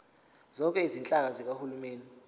zonke izinhlaka zikahulumeni